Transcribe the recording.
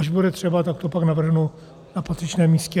Až bude třeba, tak to pak navrhnu na patřičném místě.